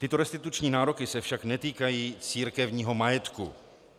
Tyto restituční nároky se však netýkají církevního majetku.